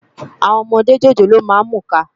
Áwòn òmòdé jójóló má n múká